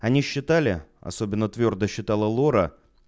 они считали особенно твёрдо считала лора